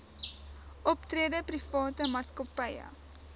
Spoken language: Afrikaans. optrede private maatskappye